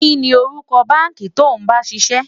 kí ní orúkọ bánkì to bá ń síse?